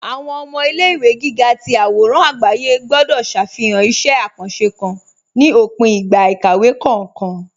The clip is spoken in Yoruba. Awọn ọmọ ilẹ̀-ìwé gígà tì awòràn agbàyé gbọ̀dọ̀ ṣáfihàn ìṣẹ̀ àkàńṣé kán ní òpìn ìgbà ìkàwé kọọkan